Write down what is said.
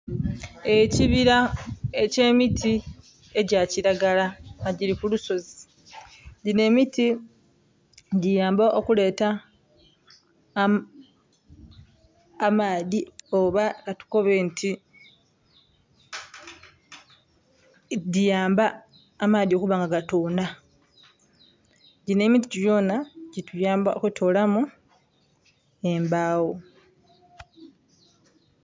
Ekibila eky'emiti egya kilagala nga gili ku lusozi. Dhino emiti giyamba okuleeta amaadhi oba katukobe nti dhiyamba amaadhi okuba nga gatoonha. Gino emiti gyona gituyamba okutoolamu embaawo.